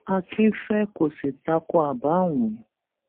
akinfe kò sì ta ko àbá ọhún